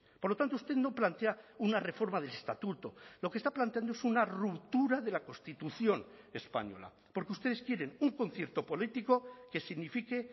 por lo tanto usted no plantea una reforma del estatuto lo que está planteando es una ruptura de la constitución española porque ustedes quieren un concierto político que signifique